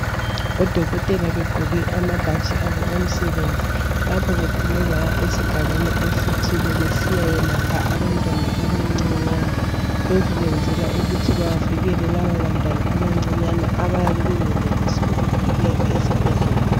Odokotela begqoke amabhatshi abo omsebenzi lapho bephume baya esigabeni esithile besiya yelapha abantwana abancancinyane lokho kwenzela ukuthi bavikele laba bantwana abancinyane abayabe bengenelisi ukufike esibhedlela.